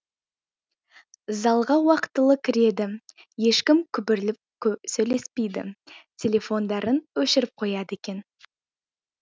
залға уақытылы кіреді ешкім күбірлеп сөйлеспейді телефондарын өшіріп қояды екен